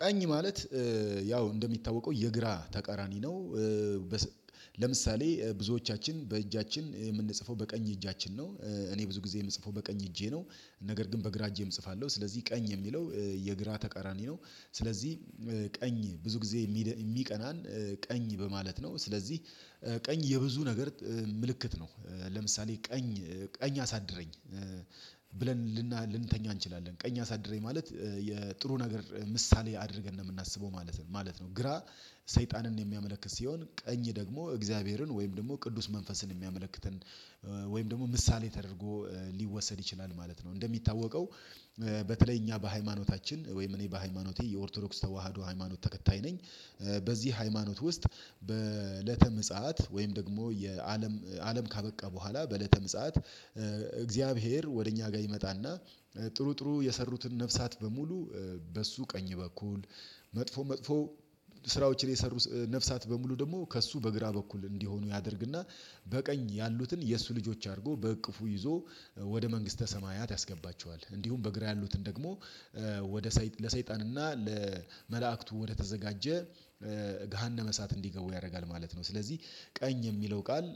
ቀኝ ማለት ያው እንደሚታወቀው የግራ ተቃራኒ ነው። ለምሳሌ ብዙዎቻችን በእጃችን የምንጽፈው በቀኝ እጃችን ነው። እኔ ብዙ ጊዜ የምጽፈው በቀኝ እጄ ነው ነገር ግን በግራ እጄም እጽፋለሁ ስለዚህ ቀኝ የሚለው የግራ ተቃራኒ ነው ስለዚህ ቀኝ ብዙ ጊዜ የሚቀናን ቀኝ በማለት ነው። ስለዚህ ቀኝ የብዙ ነገር ምልክት ነው። ለምሳሌ ቀኝ ቀኝ አሳድረኝ ብለን ልንተኛ እንችላለን ቀኝ አሳድረኝ ማለት የጥሩ ነገር ምሳሌ አድርገን ነው የምናስበው ማለት ነው። ግራ ሰይጣንን የሚያመለክት ሲሆን ቀኝ ደግሞ እግዚአብሔርን ወይም ደግሞ ቅዱስ መንፈስን የሚያመለክትን ወይም ደግሞ ምሳሌ ተደርጎ ሊወሰድ ይችላል ማለት ነው። እንደሚታወቀው በተለይ እኛ በሃይማኖታችን ወይም እኔ በሃይማኖቴ የኦርቶዶክስ ተዋህዶ ሃይማኖት ተከታይ ነኝ። በዚህ ሃይማኖት ውስጥ በእለተ ምጽአት ወይም ደግሞ የአለም አለም ካበቃ በኋላ በእለተ ምጽአት እግዚአብሔር ወደ እኛ ጋር ይመጣ እና ጥሩ ጥሩ የሰሩትን ነፍሳት በሙሉ በእሱ ቀኝ በኩል መጥፎ መጥፎ ስራዎችን የሰሩ ነፍሳት በሙሉ ደግሞ ከእሱ በግራ በኩል እንዲሆኑ ያደርግ እና በቀኝ ያሉትን የእሱ ልጆች አድርጎ በእቅፉ ይዞ ወደ መንግስተ ሰማያት ያስገባቸዋል። እንዲሁም በግራ ያሉትን ደግሞ ወደ ሰይጣን ለሰይጣን እና ለመላእክቱ ወደ ተዘጋጀ ገሃነመ እሳት እንዲገቡ ያደርጋል ማለት ነው። ስለዚህ ቀኝ የሚለው ቃል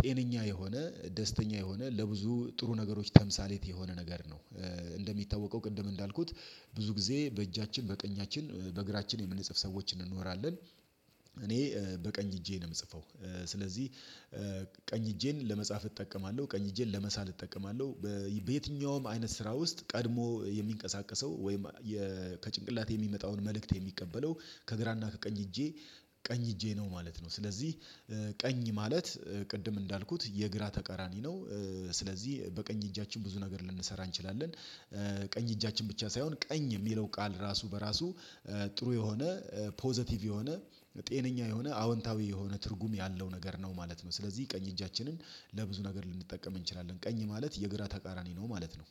ጤነኛ የሆነ ደስተኛ የሆነ ለብዙ ጥሩ ነገሮች ተምሳሌት የሆነ ነገር ነው እንደሚታወቀው ቅድም እንዳልኩት ብዙ ጊዜ በእጃችን በቀኛችን በግራችን የምንጽፍ ሰዎች እንኖራለን። እኔ በቀኝ እጄ ነው የምጽፈው ስለዚህ ቀኝ እጄን ለመጻፍ እጠቀማለሁ ቀኝ እጄን ለመሳል እጠቀማለሁ በየትኛውም አይነት ስራ ውስጥ ቀድሞ የሚንቀሳቀሰው ወይም ከጭንቅላት የሚመጣውን መልእክት የሚቀበለው ከግራና ከቀኝ እጄ ቀኝ እጄ ነው ማለት ነው። ስለዚህ ቀኝ ማለት ቅድም እንዳልኩት የግራ ተቀራኒ ነው። ስለዚህ በቀኝ እጃችን ብዙ ነገር ልንሰራ እንችላለን ቀኝ እጃችን ብቻ ሳይሆን ቀኝ የሚለው ቃል ራሱ በራሱ ጥሩ የሆነ ፖዘቲቭ የሆነ ጤነኛ የሆነ አዎንታዊ የሆነ ትርጉም ያለው ነገር ነው ማለት ነው። ስለዚህ ቀኝ እጃችንን ለብዙ ነገር ልንጠቀም እንችላለን ቀኝ ማለት የግራ ተቃራኒ ነው ማለት ነው።